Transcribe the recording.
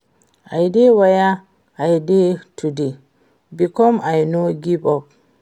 I dey where I dey today because I no give up